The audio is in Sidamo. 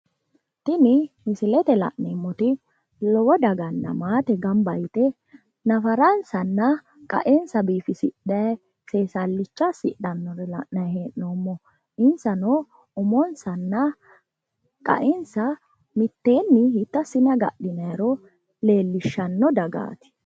Tini misilete aana la'neemmoti lowo daganna maate nafaransanna qa'ensa biifisidhayi seessalicha assidha noore la'nanni hee'noommo insanno umonsanna qa'ensa mitteenni hiitto assine agadhinayro leellishshanno dagaati.